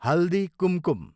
Haldi Kumkum